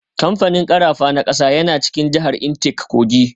Kamfanin karafa na kasa yana cikin jihar Intake Kogi.